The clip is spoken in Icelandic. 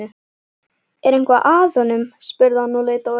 Er eitthvað að honum? spurði hann og leit á Örn.